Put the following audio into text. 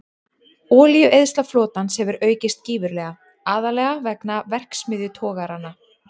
Olíueyðsla flotans hefur aukist gífurlega, aðallega vegna verksmiðjutogaranna.